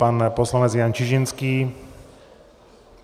Pan poslanec Jan Čižinský.